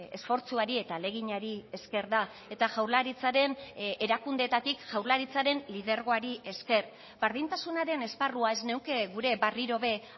esfortzuari eta ahaleginari esker da eta jaurlaritzaren erakundeetatik jaurlaritzaren lidergoari esker berdintasunaren esparrua ez nuke gure berriro ere